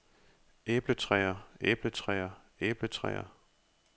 æbletræer æbletræer æbletræer